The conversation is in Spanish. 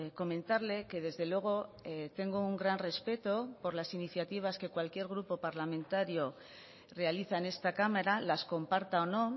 comentarle que desde luego tengo un gran respeto por las iniciativas que cualquier grupo parlamentario realiza en esta cámara las comparta o no